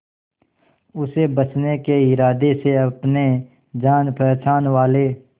उसे बचने के इरादे से अपने जान पहचान वाले